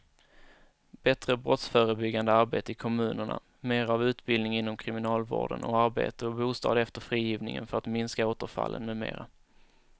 Bättre brottsförebyggande arbete i kommunerna, mera av utbildning inom kriminalvården och arbete och bostad efter frigivningen för att minska återfallen med mera.